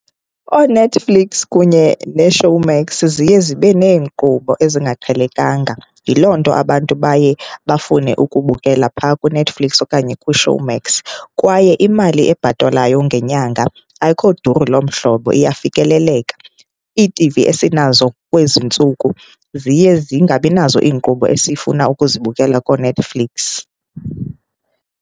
OoNetflix kunye neShowmax ziye zibe neenkqubo ezingaqhelekanga, yiloo nto abantu baye bafune ukubukela phaa kwuNetflix okanye kuShowmax. Kwaye imali ebhatalwayo ngenyanga ayikho duru lomhlobo, iyafikeleleka. Iitivi esinazo kwezi ntsuku ziye zingabinazo iinkqubo esifuna ukuzibukela kooNetflix.